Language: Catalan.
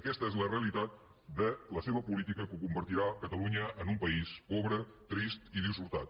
aquesta és la realitat de la seva política que convertirà catalunya en un país pobre trist i dissortat